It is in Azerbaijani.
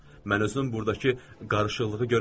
Mən özüm burdakı qarışıqlığı görürəm.